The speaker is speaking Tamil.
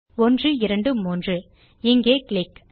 123 இங்கே கிளிக்